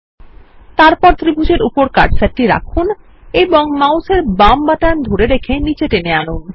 তারপর ত্রিভুজ এর উপর কার্সারটি রাখুন এবং মাউস এর বাম বাটন ধরে রেখে নীচে টেনে আনুন